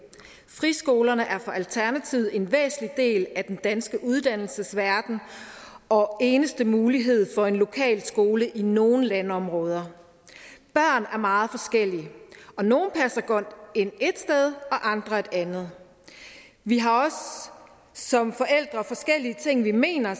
friskolerne er for alternativet en væsentlig del af den danske uddannelsesverden og eneste mulighed for en lokal skole i nogle landområder børn er meget forskellige og nogle passer godt ind ét sted andre et andet vi har også som forældre forskellige ting vi mener